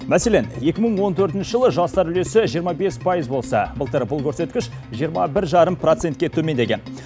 мәселен екі мың он төртінші жылы жастар үлесі жиырма бес пайыз болса былтыр бұл көрсеткіш жиырма бір жарым процентке төмендеген